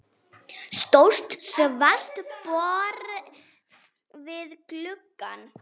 Stórt svart borð við glugga.